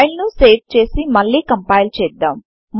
file ను save చేసి మళ్లీ కంపైల్ చేద్దాం